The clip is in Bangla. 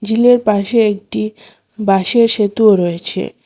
ঝিলের পাশে একটি বাঁশের সেতুও রয়েছে।